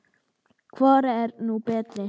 Hvor er nú betri?